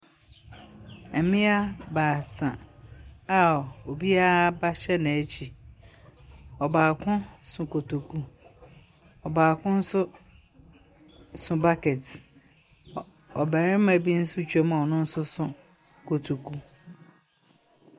Mbea baasa a obiara ba hyɛ n’ekyir, ɔbaako so kotoku, ɔbaako nso so bucket. Ɔbarima bi nso twa mu a ɔno nso so kotoku.